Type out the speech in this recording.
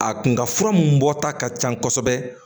A kun ka fura mun bɔta ka ca kosɛbɛ